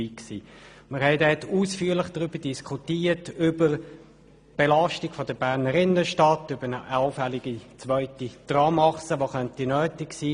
Dort diskutierten wir ausführlich über die Belastung der Berner Innenstadt, über eine allfällige zweite Tramachse, die nötig sein könnte.